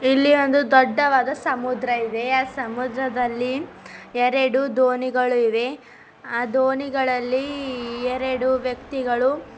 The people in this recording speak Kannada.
ಇಲ್ಲಿ ಒಂದು ದೊಡ್ಡವಾದ ಸಮುದ್ರ ಇದೆ ಆ ಸಮುದ್ರದಲ್ಲಿ ಎರಡು ದೋನಿಗಳು ಇವೆ ಆ ದೋನಿಗಳಿಲ್ಲಿ ಎರಡು ವ್ಯಕ್ತಿಗಳು--